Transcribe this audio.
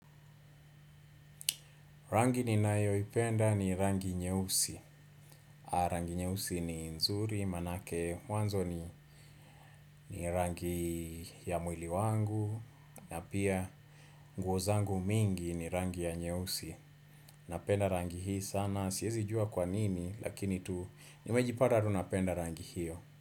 Rangi ninayo ipenda ni rangi nyeusi. Rangi nyeusi ni nzuri, maanake, mwanzo ni rangi ya mwili wangu, na pia nguo zangu mingi ni rangi ya nyeusi. Napenda rangi hii sana, siwezi jua kwa nini, lakini tu nimejipata tu napenda rangi hiyo.